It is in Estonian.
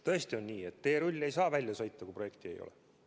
Tõesti on nii, et teerull ei saa välja sõita, kui projekti ei ole.